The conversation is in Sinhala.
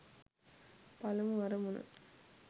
පළමු අරමුණ.